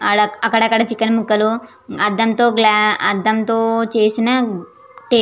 అక్కడ అక్కడ చికెన్ ముక్కలు అద్దం తో గ్లా అద్దం తో చేసిన --